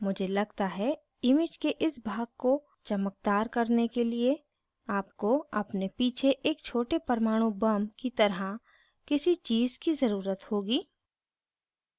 मुझे लगता है image के इस भाग को चमकदार करने के लिए आपको अपने पीछे एक छोटे परमाणु bomb की तरह किसी चीज़ की जरूरत होगी